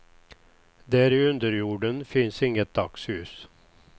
Där i underjorden finns inget dagsljus.